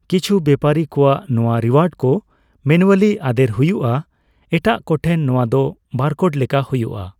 ᱠᱤᱪᱷᱩ ᱵᱮᱯᱟᱨᱤ ᱠᱚᱣᱟᱜ ᱱᱚᱣᱟ ᱨᱤᱭᱩᱳᱟᱨᱰ ᱠᱚ ᱢᱮᱱᱩᱣᱟᱞᱤ ᱟᱫᱮᱨ ᱦᱩᱭᱩᱜᱼᱟ, ᱮᱴᱟᱜ ᱠᱚ ᱴᱷᱮᱱ ᱱᱚᱣᱟ ᱫᱚ ᱵᱟᱨᱠᱳᱰ ᱞᱮᱠᱟ ᱦᱩᱭᱩᱜᱼᱟ ᱾